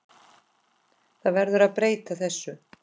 Það verður að breyta þessu.